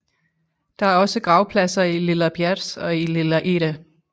Der er også gravpladser i Lilla Bjärs og i Lilla Ihre